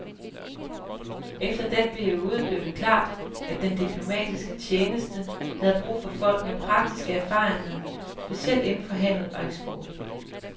Efter den periode blev det klart, at den diplomatiske tjeneste havde brug for folk med praktiske erfaringer, specielt inden for handel og eksport.